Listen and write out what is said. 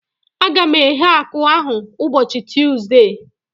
A ga m eghe akụ ahu ụbọchị Tuuzde